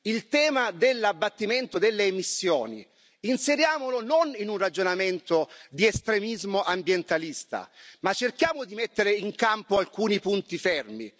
Il tema dell'abbattimento delle emissioni inseriamolo non in un ragionamento di estremismo ambientalista, ma cerchiamo di mettere in campo alcuni punti fermi.